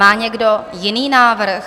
Má někdo jiný návrh?